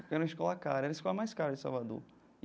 Que era uma escola cara, era a escola mais cara de Salvador.